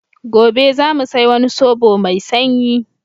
Gobe za mu sai wani sobo mai shanyi.